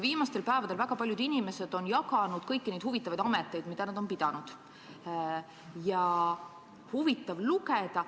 Viimastel päevadel on väga paljud inimesed jaganud infot kõigi nende huvitavate ametite kohta, mida nad on pidanud, ja seda on huvitav lugeda.